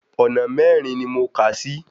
Ọ̀nà mẹ́rin ni mo kàá sí.